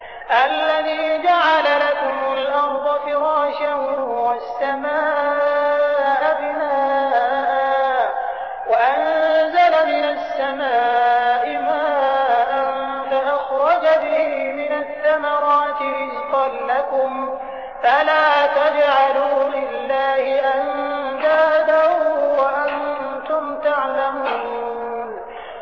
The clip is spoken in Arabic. الَّذِي جَعَلَ لَكُمُ الْأَرْضَ فِرَاشًا وَالسَّمَاءَ بِنَاءً وَأَنزَلَ مِنَ السَّمَاءِ مَاءً فَأَخْرَجَ بِهِ مِنَ الثَّمَرَاتِ رِزْقًا لَّكُمْ ۖ فَلَا تَجْعَلُوا لِلَّهِ أَندَادًا وَأَنتُمْ تَعْلَمُونَ